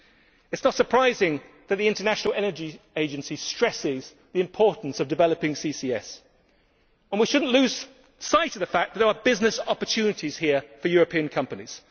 It is not surprising that the International Energy Agency stresses the importance of developing CCS, and we should not lose sight of the fact that there are business opportunities here for European companies.